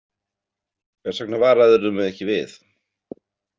Hvers vegna varaðirðu mig ekki við?